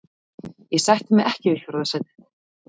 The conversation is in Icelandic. Ég sætti mig ekki við fjórða sætið.